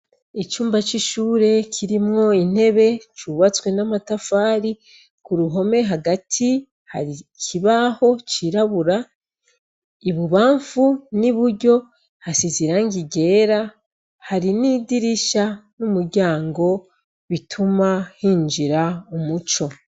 Icumba c'ishure kirimwo intebe cubatswe n'amatafari, ku ruhome hagati hari ikibaho cirabura, ibubamfu n'iburyo hasize irangi ryera hari n'idirisha n'umuryango bituma hinjira umuco.